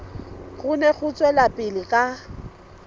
kgone ho tswela pele ka